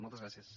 moltes gràcies